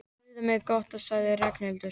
Guð hvað það er gott sagði Ragnhildur.